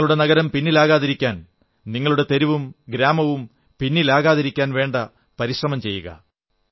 നിങ്ങളുടെ നഗരം പിന്നിലാകാതിരിക്കാൻ നിങ്ങളുടെ തെരുവും ഗ്രാമവും പിന്നിലാകാതിരിക്കാൻ വേണ്ട പരിശ്രമം ചെയ്യുക